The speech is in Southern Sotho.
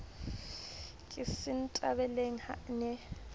ke sentebaleng ha a ne